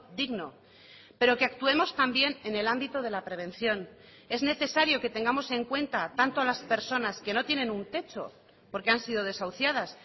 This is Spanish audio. digno pero que actuemos también en el ámbito de la prevención es necesario que tengamos en cuenta tanto a las personas que no tienen un techo porque han sido desahuciadas